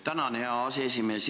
Tänan, hea aseesimees!